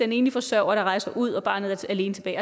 en enlig forsørger der rejser ud og barnet er alene tilbage